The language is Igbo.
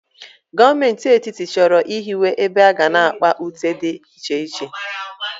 Gọọmenti Etiti chọrọ ịhiwe ebe aga na-akpa ute dị iche iche.